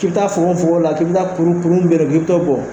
k'i bɛ taa fogofogo la k'i bɛ k kuru min bɛ yen nɔ k'i bɛ t'o bɔ